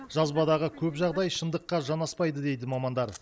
жазбадағы көп жағдай шындыққа жанаспайды дейді мамандар